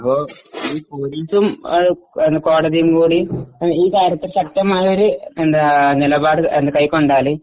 അപ്പൊ ഈ പോലീസും കോടതിയും കൂടി ഈ കാര്യത്തിൽ ശക്തമായ ഒരു നിലപാട് കൈകൊണ്ടാൽ